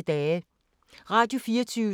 Radio24syv